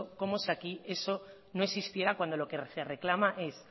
como si aquí eso no existiera cuando lo que se reclama es